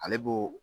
Ale b'o